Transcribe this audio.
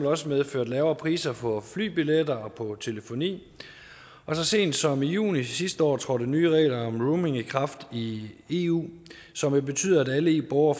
også medført lavere priser på flybilletter og på telefoni og så sent som i juni sidste år trådte nye regler om roaming i kraft i eu som vil betyde at alle eu borgere